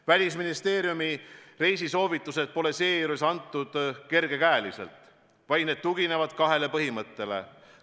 Välisministeeriumi reisisoovitused pole antud kerge käega, vaid need tuginevad kahele põhimõttele.